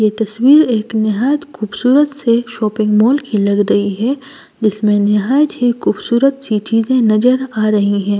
यह तस्वीर एक निहायत खूबसूरत से शॉपिंग मॉल की लग रही है जिसमें निहायत ही खूबसूरत सी चीजें नजर आ रही हैं।